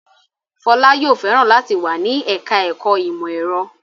Fọlá yóò fẹ́ràn láti wà ní ẹ̀ka-ẹ̀kọ́ ìmọ̀-ẹ̀rọ.